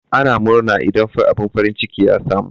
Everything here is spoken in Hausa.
Ana murna idan abun farin ciki ya samu.